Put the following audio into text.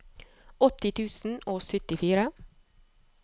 åtti tusen og syttifire